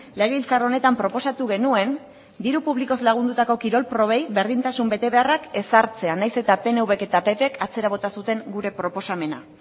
legebiltzar honetan proposatu genuen diru publikoz lagundutako kirol probei berdintasun betebeharrak ezartzea nahiz eta pnvk eta ppk atzera bota zuten gure proposamena